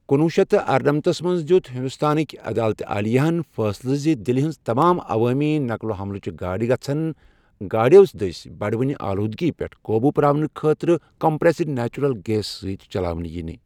کنوہہ شتھ تہٕ ارنمتس منز دِیت ہندوستانٕکۍ عدالتہِ عالیہ ہن فٲصلہٕ زِ دِلہِ ہٕنٛزِٕ تمام عوٲمی نقل و حملٕچہ گاڈِ گژھن گاڈِٮ۪و دٔسۍ بڈوٕنہِ ٲلوٗدگی پٮ۪ٹھ قوبو پرٛاونہٕ خٲطرٕ، كمپرٛسڈ نیچرل گیس سٕتۍ چلاونہٕ یِنہِ۔